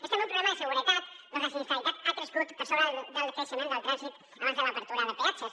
és també un problema de seguretat perquè la sinistralitat ha crescut per sobre del creixement del trànsit abans de l’obertura de peatges